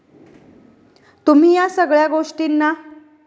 तुम्ही या सगळ्या गोष्टीना